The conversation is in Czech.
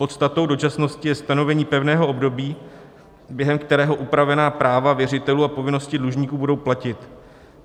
Podstatou dočasnosti je stanovení pevného období, během kterého upravená práva věřitelů a povinnosti dlužníků budou platit.